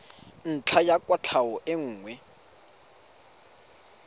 ntlha ya kwatlhao e nngwe